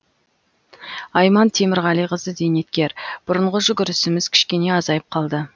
айман темірғалиқызы зейнеткер бұрынғы жүгірісіміз кішкене азайып қалды